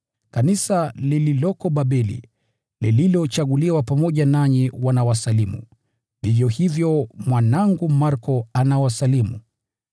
Kanisa lililoko Babeli, lililochaguliwa pamoja nanyi, wanawasalimu; vivyo hivyo mwanangu Marko anawasalimu.